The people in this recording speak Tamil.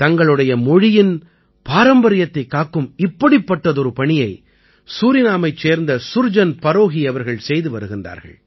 தங்களுடைய மொழியின் பாரம்பரியத்தைக் காக்கும் இப்படிப்பட்டதொரு பணியை சூரினாமைச் சேர்ந்த சுர்ஜன் பரோஹீ அவர்கள் செய்து வருகிறார்கள்